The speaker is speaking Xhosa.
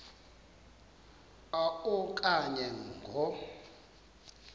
a okanye ngo